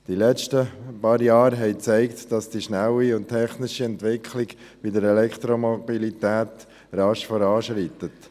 Die letzten paar Jahre haben gezeigt, dass die schnelle, technische Entwicklung bei der Elektromobilität rasch voranschreitet.